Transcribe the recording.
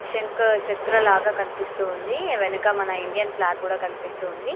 శంఖచక్ర లాగా కనిపిస్తుంది వెనక మన ఇండియన్ ఫ్లాగ్ కూడా కనిపిస్తుంది.